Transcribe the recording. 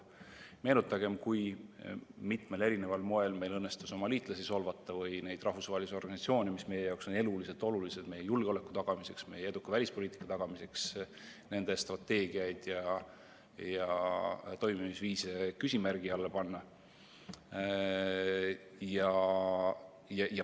Meenutagem, kui mitmel eri moel on meil õnnestunud solvata oma liitlasi või neid rahvusvahelisi organisatsioone, mis meie jaoks on eluliselt olulised meie julgeoleku tagamiseks, meie eduka välispoliitika tagamiseks, ning nende strateegiaid ja toimimisviise küsimärgi alla panna.